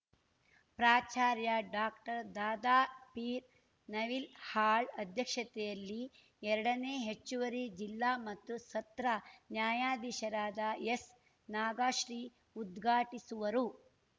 ಪ್ರಾಚಾರ್ಯ ಡಾಕ್ಟರ್ದಾದಾಪೀರ್ ನವಿಲ್ ಹಾಳ್‌ ಅಧ್ಯಕ್ಷತೆಯಲ್ಲಿ ಎರಡನೇ ಹೆಚ್ಚುವರಿ ಜಿಲ್ಲಾ ಮತ್ತು ಸತ್ರ ನ್ಯಾಯಾಧೀಶರಾದ ಎಸ್‌ನಾಗಶ್ರೀ ಉದ್ಘಾಟಿಸುವರು